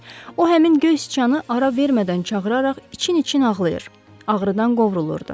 O həmin göy sıçanı ara vermədən çağıraraq için-için ağlayır, ağrıdan qovrulurdu.